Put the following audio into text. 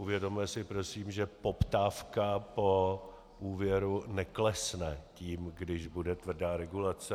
Uvědomme si prosím, že poptávka po úvěru neklesne tím, když bude tvrdá regulace.